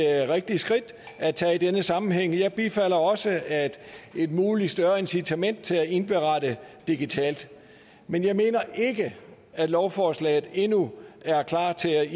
rigtigt skridt at tage i denne sammenhæng jeg bifalder også et muligt større incitament til at indberette digitalt men jeg mener ikke at lovforslaget endnu er klar til at